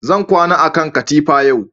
Zan kwana a kan katifa yau